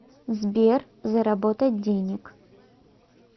сбер заработать денег